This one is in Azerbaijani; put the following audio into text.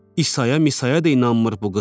İsayə, Misayə də inanmır bu qız.